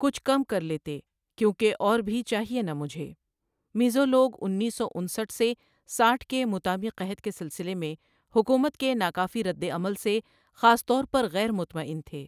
کچھ کم کر لیتے کیوں کہ اور بھی چاہیے نا مجھے میزو لوگ انیس سو انسٹھ سے ساٹھ کے موتامی قحط کے سلسلے میں حکومت کے ناکافی ردعمل سے خاص طور پر غیر مطمئن تھے۔